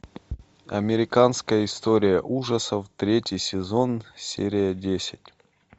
американская история ужасов третий сезон серия десять